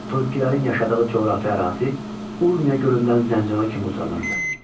Turukkilərin yaşadığı coğrafi ərazi Urmiya gölündən Zəncana kimi uzanırdı.